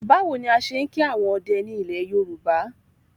Báwo ni a ṣe ń kí àwọn ọdẹ ni ilẹ̀ Yorùbá?